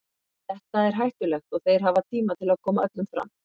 Þetta er hættulegt og þeir hafa tíma til að koma öllum fram.